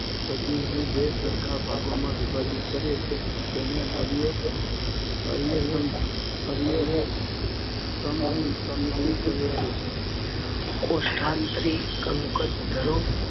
સજીવને બે સરખા ભાગોમાં વિભાજીત કરે તેને અરીય અરીય સમમિતિ કહે છે. કોષ્ઠત્રિ, કંકતધરો